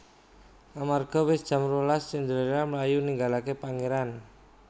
Amarga wis jam rolas Cinderella mlayu ninggalaké pangèran